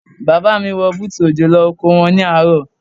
Bàbá mi wọ bútù òjò lọ oko wọn ní àárọ̀.